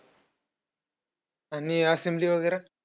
आणि assembly वगैरे?